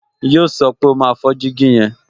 Yíò sọ pé, "O máa fọ́ jígí yẹn"